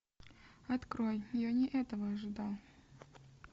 открой я не этого ожидал